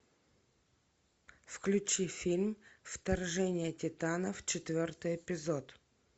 включи фильм вторжение титанов четвертый эпизод